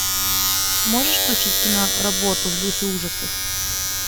можешь включить киноработу в духе ужасов